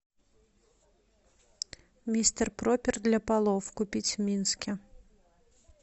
мистер пропер для полов купить в минске